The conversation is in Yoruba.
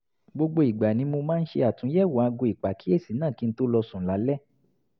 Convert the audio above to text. gbogbo ìgbà ni mo máa ń ṣe àtúnyẹ̀wò aago ìpàkíyèsí náà kí n tó lọ sùn lálẹ́